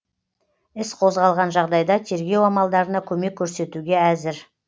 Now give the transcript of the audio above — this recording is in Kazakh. іс қозғалған жағдайда тергеу амалдарына көмек көрсетуге әзір